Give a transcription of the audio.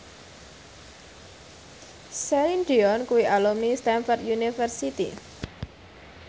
Celine Dion kuwi alumni Stamford University